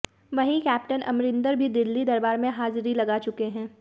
वहीं कैप्टन अमरिंदर भी दिल्ली दरबार में हाजिरी लगा चुके हैं